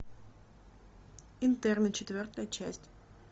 интерны четвертая часть